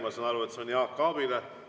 Ma saan aru, et see on Jaak Aabile.